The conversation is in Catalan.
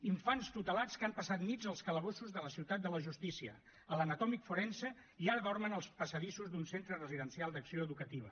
infants tutelats que han passat nits als calabossos de la ciutat de la justícia a l’anatòmic forense i ara dormen als passadissos d’un centre residencial d’acció educativa